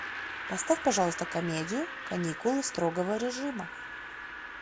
поставь пожалуйста комедию каникулы строгого режима